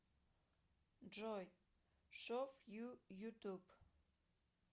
джой шов ю ютуб